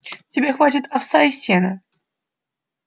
тебе хватит овса и сена